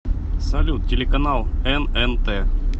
салют телеканал эн эн тэ